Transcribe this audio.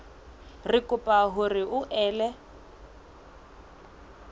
re kopa hore o ele